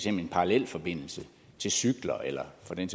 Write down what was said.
en parallelforbindelse til cykler eller for den